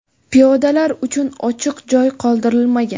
Piyodalar uchun ochiq joy qoldirilmagan.